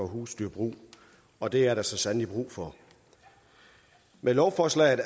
husdyrbrug og det er der så sandelig brug for med lovforslaget